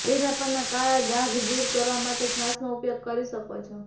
ચહેરા પરના કાળા ડાઘ દૂર કરવા માટે છાશનો ઉપયોગ કરી શકો છો